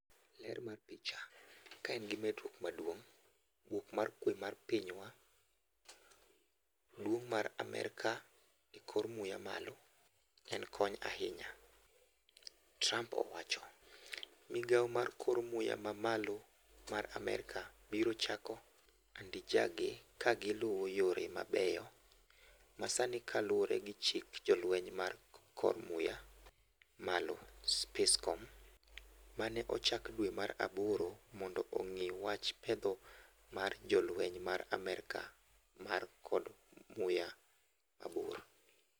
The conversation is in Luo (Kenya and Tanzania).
Ler mar picha, "Kaen gi medruok maduong' bwok mar kwe mar pinywa, duong' mar Amerka e kor muya malo en kony ahinya," Trump owacho. Migao mar kor muya mamalo mar Amerka biro chako andijage kagiluo yore mabeyo masanikaluore gi chik jolweny mar kor muya malo (SpaceCom), mane ochak dwe mar Aboro mondo ong'i wach petho mar jolweny mar Amerka mar kor muya mabor.